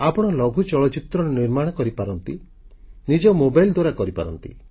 ଆପଣ ଲଘୁ ଚଳଚ୍ଚିତ୍ର ନିର୍ମାଣ କରିପାରନ୍ତି ନିଜ ମୋବାଇଲ ଦ୍ୱାରା କରିପାରନ୍ତି